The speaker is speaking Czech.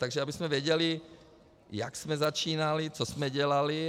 Takže abychom věděli, jak jsme začínali, co jsme dělali.